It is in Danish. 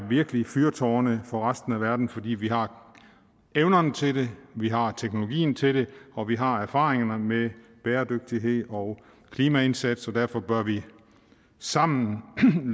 fyrtårne for resten af verden fordi vi har evnerne til det vi har teknologien til det og vi har erfaringerne med bæredygtighed og klimaindsats derfor bør vi sammen